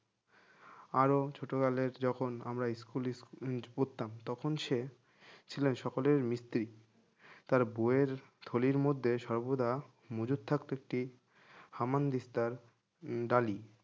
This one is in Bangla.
আরো ছোটবেলায় যখন আমরা স্কুলে স্কুলে উম পড়তাম তখন সে ছিলেন সকলের মিস্ত্রি তার বইয়ের থলির মধ্যে সর্বদা মজুদ থাকতো একটি হামান দিস্তার উম ডালি